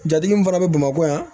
Jatigi min fana bɛ bamakɔ yan